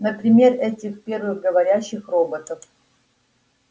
например этих первых говорящих роботов